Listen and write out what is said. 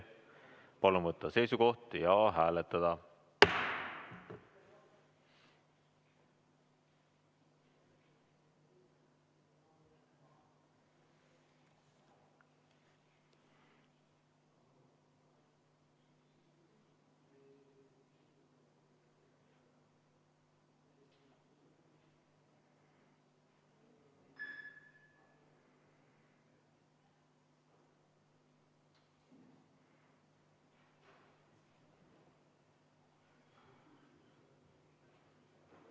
Palun võtta seisukoht ja hääletada!